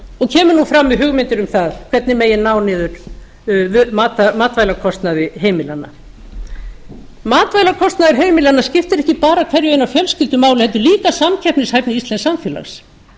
og kemur nú fram með hugmyndir um það hvernig ná megi niður matvælakostnaði heimilanna matvælakostnaður heimilanna skiptir ekki bara hverja eina fjölskyldu máli heldur líka samkeppnishæfni íslensks samfélags